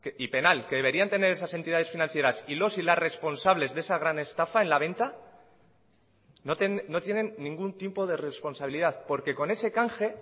y penal que deberían tener esas entidades financieras y los y las responsables de esa gran estafa en la venta no tienen ningún tipo de responsabilidad porque con ese canje